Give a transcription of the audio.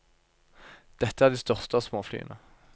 Dette er de største av småflyene.